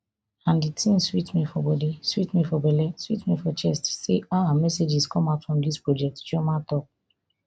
and di tin sweet me for bodi sweet me for belle sweet me for chest say ah messages come out from dis project chioma tok